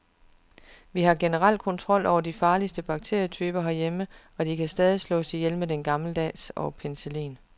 Vi har generelt kontrol over de farligste bakterietyper herhjemme, og de kan stadig slås ihjel med den gammeldags og penicillin.